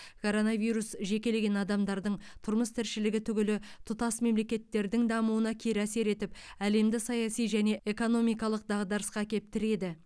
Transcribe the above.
коронавирус жекелеген адамдардың тұрмыс тіршілігі түгілі тұтас мемлекеттердің дамуына кері әсер етіп әлемді саяси және экономикалық дағдарысқа әкеп тіреді